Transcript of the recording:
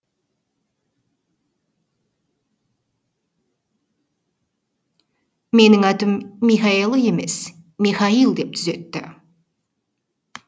менің атым михаэле емес михаэл деп түзетті